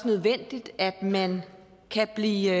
nødvendigt at man kan blive